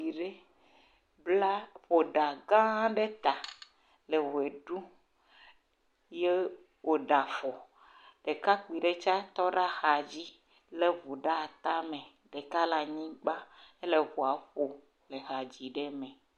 Ɖetugbe ɖe bla ƒo ɖa gãa ɖe ta le ʋe ɖum, ye wòɖe afɔ, ɖekakpui ɖe tsɛ tɔ ɖe axadzi lé ŋu ɖe atame, ɖeka le anyigba hele ŋua ƒom le ha dzim ɖe me.